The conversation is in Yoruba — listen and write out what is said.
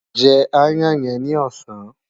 Jẹ aáyán yẹn ni ọ̀sán!